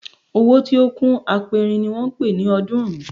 Owó tó kún apẹrin ni wọ́n ń pe ọ̀ọ́dúnrún